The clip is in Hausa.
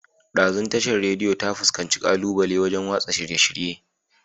Ɗazun Tashar Radiyo ta fuskanci ƙalubale wajan watsa shirye-shirye